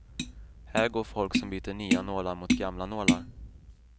Här går folk som byter nya nålar mot gamla nålar.